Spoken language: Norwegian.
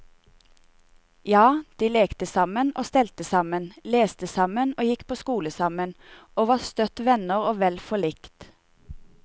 Ja, de lekte sammen og stelte sammen, leste sammen og gikk på skole sammen, og var støtt venner og vel forlikt.